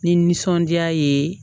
Ni nisɔndiya ye